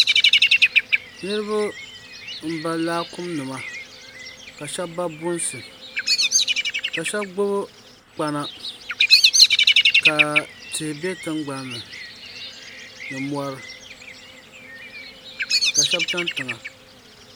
niriba n ba lakumi nima ka shɛba ba bunsi ka ahɛba gbabi kpana ka tihi bɛ tiŋgbani ni mori ka shɛba chɛni tiŋa